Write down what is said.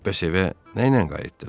"Bəs evə nəylə qayıtdınız?"